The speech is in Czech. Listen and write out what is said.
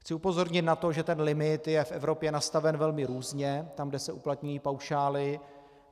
Chci upozornit na to, že ten limit je v Evropě nastaven velmi různě, tam kde se uplatňují paušály.